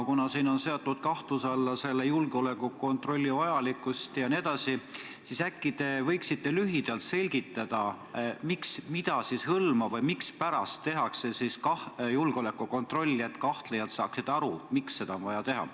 Kuna siin on seatud kahtluse alla selle julgeolekukontrolli vajalikkust jne, siis äkki te võiksite lühidalt selgitada, mida siis hõlmab või mispärast tehakse siis julgeolekukontrolli – et kahtlejad saaksid aru, miks seda on vaja teha.